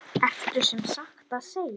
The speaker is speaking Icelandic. Ertu sem sagt að segja.